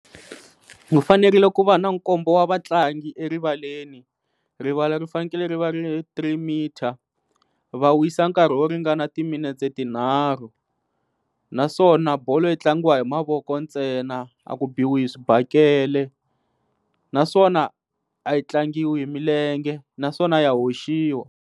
U fanerile ku va na nkombo wa vatlangi erivaleni rivala ri fanekele ri va ri ri three meter va wisa nkarhi wo ringana timinetse tinharhu naswona bolo yi tlangiwa hi mavoko ntsena a ku biwi hi swibakele naswona a yi tlangiwa hi milenge naswona ya hoxiwa.